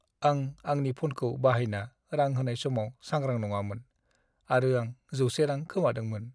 आं आंनि फ'नखौ बाहायना रां होनाय समाव सांग्रां नङामोन आरो आं 100 रां खोमादोंमोन।